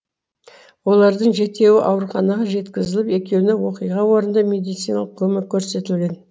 олардың жетеуі ауруханаға жеткізіліп екеуіне оқиға орнында медициналық көмек көрсетілген